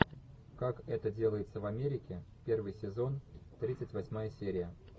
как это делается в америке первый сезон тридцать восьмая серия